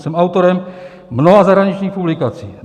Jsem autorem mnoha zahraničních publikací.